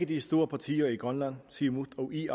de store partier i grønland siumut og ia